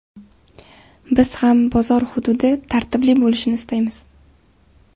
Biz ham bozor xududi tartibli bo‘lishini istaymiz.